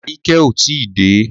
Aríkẹ́ ò tí dé.